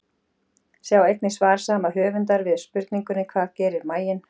Sjá einnig svar sama höfundar við spurningunni Hvað gerir maginn?